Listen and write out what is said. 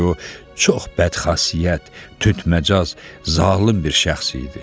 Çünki o çox bədxassiyət, tündməcaz, zalım bir şəxs idi.